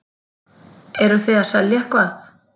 Eruð þið að selja eitthvað?